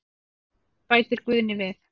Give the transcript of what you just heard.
Bætir Guðni við.